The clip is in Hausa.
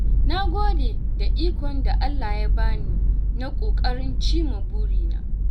Na gode da ikon da Allah ya bani na ƙoƙarin cimma burina.